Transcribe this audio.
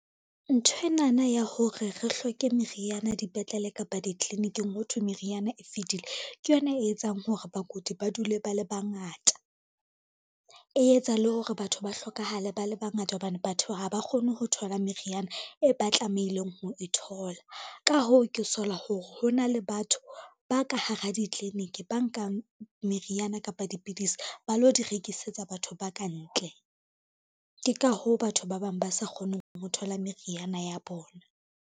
Nthwenana ya hore re hloke meriana dipetlele kapa ditliliniking hothwe meriana e fedile, ke yona e etsang hore bakudi ba dule ba le bangata, e etsa le hore batho ba hlokahale ba le bangata hobane batho ha ba kgone ho thola meriana e ba tlamehileng ho e thola. Ka hoo ke sola hore hona le batho ba ka hara ditliliniki, ba nkang meriana kapa dipidisi ba lo di rekisetsa batho ba ka ntle, ke ka hoo batho ba bang ba sa kgoneng ho thola meriana ya bona.